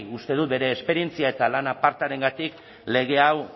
uste dut bere esperientzia eta lan apartagatik lege hau